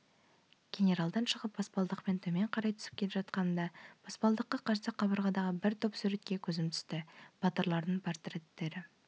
генералдан шығып баспалдақпен төмен қарай түсіп келе жатқанымда баспалдаққа қарсы қабырғадағы бір топ суретке көзім түсті батырлардың портреттері